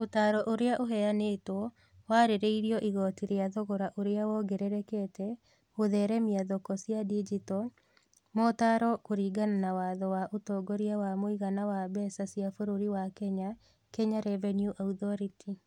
Ũtaaro ũrĩa ũheanĩtwo warĩrĩirio igooti rĩa thogora ũrĩa wongererekete (gũtheremia thoko cia digito) motaaro kũringana na watho wa Ũtongoria wa mũigana wa mbeca cia bũrũri wa Kenya (Kenya Revenue Authority).